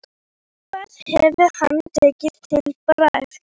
Hvað hefði hann tekið til bragðs?